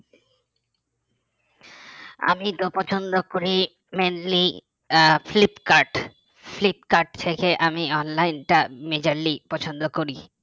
আমি তো পছন্দ করি mainly আহ ফ্লিপকার্ট ফ্লিপকার্ট থেকে আমি online টা majorly পছন্দ করি